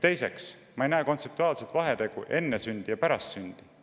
Teiseks, ma ei näe kontseptuaalset vahet, kas enne sündi või pärast sündi.